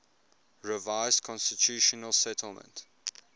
revised constitutional settlement